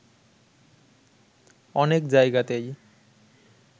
অনেক জায়গাতেই